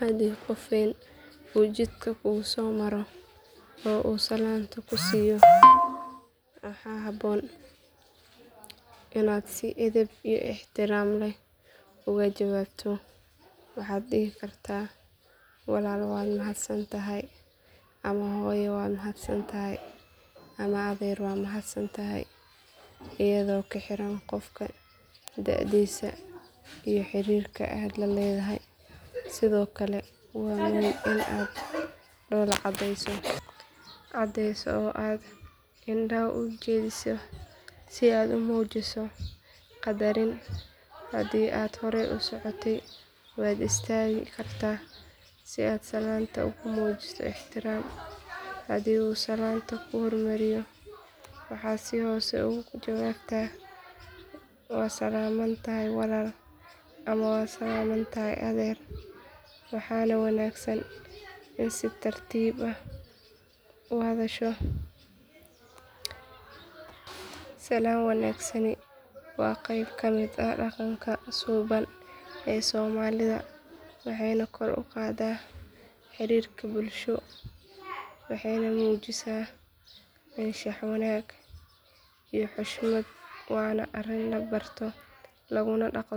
Hadii qof weyn uu jidka kugu soo maro oo uu salaanta ku siiyo waxaa habboon inaad si edeb iyo ixtiraam leh uga jawaabto waxaad dhihi kartaa walaal waad salaamantahay ama hooyo waad salaamantahay ama adeer waad salaamantahay iyadoo ku xiran qofka da'diisa iyo xiriirka aad la leedahay sidoo kale waa muhiim in aad dhoolla caddeyso oo aad indhaha u jeediso si aad muujiso qadarin hadii aad horay u socotay waad istaagi kartaa si aad salaanta ugu muujiso ixtiraam haddii uu salaanta kuu hormariyo waxaad si hoose ugu jawaabtaa waad salaamantahay walaal ama waad salaamantahay adeer waxaana wanaagsan inaad si tartiib ah u hadasho salaan wanaagsani waa qayb ka mid ah dhaqanka suuban ee soomaalida waxayna kor u qaadaa xiriirka bulsho waxayna muujisaa anshax wanaag iyo xushmad waana arrin la barto laguna dhaqo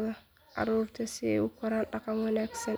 carruurta si ay ugu koraan dhaqan wanaagsan.